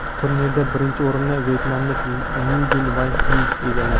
Turnirda birinchi o‘rinni vyetnamlik Nguyen Van Xyuy egalladi.